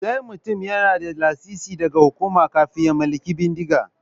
Sai mutum yana da lasisi daga hukuma kafin ya mallaki bindiga.